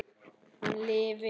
Hann lifi!